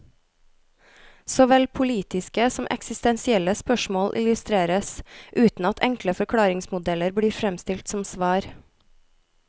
Såvel politiske som eksistensielle spørsmål illustreres, uten at enkle forklaringsmodeller blir fremstilt som svar.